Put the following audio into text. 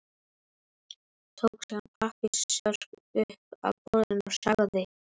Tók síðan pappírsörk upp af borðinu og sagði